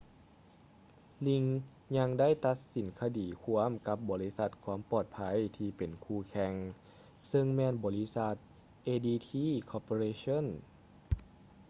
ຣີງ ring ຍັງໄດ້ຕັດສິນຄະດີຄວາມກັບບໍລິສັດຄວາມປອດໄພທີ່ເປັນຄູ່ແຂ່ງ ຊຶ່ງແມ່ນບໍລິສັດ adt corporation